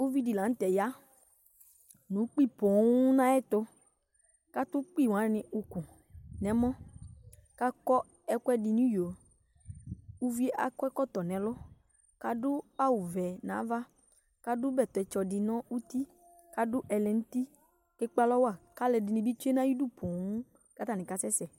Uvi di la n'tɛ ya nu'kpi poo n'ayɛ tu, k'atu'kpi wani uku n'ɛmɔ, k'akɔ ɛkuɛdi n'iyo Iʋi akɔ ɛkɔtɔ n'ɛlu, k'adu awu ʋɛ n'ava k'adu bɛtɛ tsɔ di nu uti k'adu ɛlɛnti Ekp'alɔwa k'alu ɛdi ni bi tsue n'ayi du poo k'ata ni ka sɛsɛ